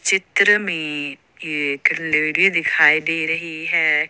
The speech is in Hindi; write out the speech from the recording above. चित्र में एक लेडी दिखाई दे रही है।